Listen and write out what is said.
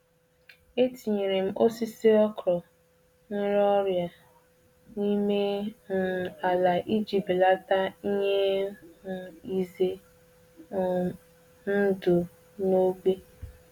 Eliri m osisi ọkwụrụ bu nje iji belata ọrịa ndị na- esi n'ikuku n'ebe ahụ.